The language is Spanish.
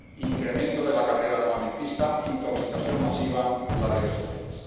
incremento de la carrera armamentista, intoxicación masiva en las redes sociales.